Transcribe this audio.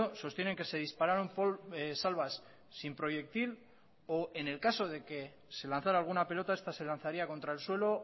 sostienen que se dispararon salvas sin proyectil o en el caso de que se lanzara alguna pelota esta se lanzaría contra el suelo